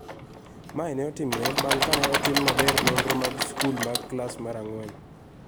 Mae ne otimore bang� ka ne otim maber nonro mag sikul mag klas mar ang�wen